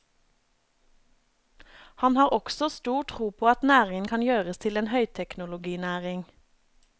Han har også stor tro på at næringen kan gjøres til en høyteknologinæring.